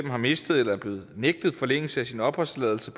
har mistet eller er blevet nægtet forlængelse af sin opholdstilladelse